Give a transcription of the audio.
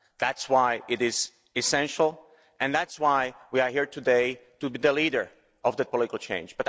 That's why it is essential and that's why we are here today, to be the leader of political change.